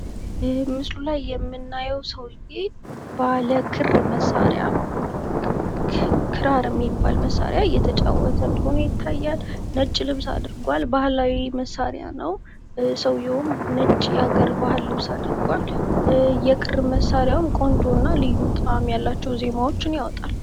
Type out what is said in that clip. ይሄ ምስሉ ላይ የምናየው ሰውየ ባለ ክር መሳሪያ ክራር የሚባል መሳሪያ እየተጫወተ እንደሆነ ይታያል። ነጭ ልብስ አድርጓል ባህላዊ መሳሪያ ነው። ሰውየውም ነጭ የአገር ባህል ልብስ አድርጓል የክር መሳሪያው ቆንጆና ልዩ ጣዕም ያላቸውን ዜማዎች ያወጣል።